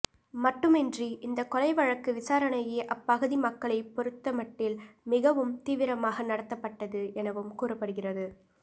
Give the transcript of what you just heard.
மட்டுமின்றி இந்த கொலை வழக்கு விசாரணையே அப்பகுதி மக்களை பொறுத்தமட்டில் மிகவும் தீவிரமாக நடத்தப்பட்டது எனவும் கூறப்படுகிறது